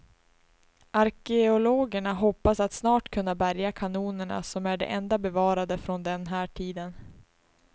Arkeologerna hoppas att snart kunna bärga kanonerna, som är de enda bevarade från den här tiden.